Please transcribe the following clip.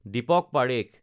Deepak Parekh